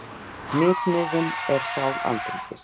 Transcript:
Hnitmiðun er sál andríkis.